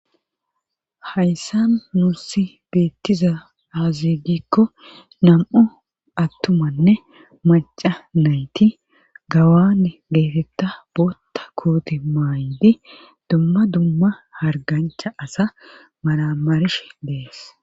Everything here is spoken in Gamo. hayssa nuussi beettiza haazigikko nam'u attumanne maca nayti gawan geetetta bootta kuuti maa'idi dumma dumma hargancha asa maramarishshe dees